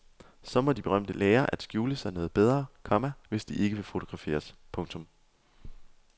Så må de berømte lære at skjule sig noget bedre, komma hvis de ikke vil fotograferes. punktum